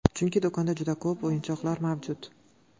Chunki, do‘konda juda ko‘p o‘yinchoqlar mavjud.